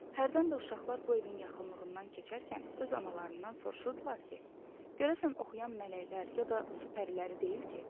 Hərdən də uşaqlar bu evin yaxınlığından keçərkən öz analarından soruşurdular ki, görəsən oxuyan mələklər ya da su pəriləri deyil ki?